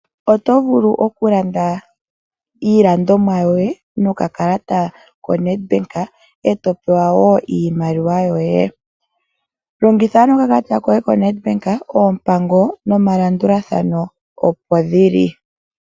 Oto vulu okulanda iilandomwa yoye nokakalata koNedBank eto pewa wo iimaliwa yoye. Longitha ano okakalata koye koNedBank oompango nomalandulathano opo dhili.